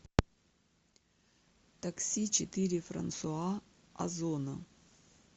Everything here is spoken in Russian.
такси четыре франсуа озона